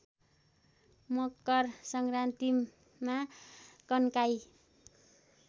मकर सङ्क्रान्तिमा कन्काई